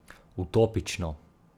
Utopično.